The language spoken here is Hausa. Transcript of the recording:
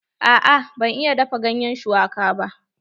A'a ban iya dafa ganyen shuwaka ba.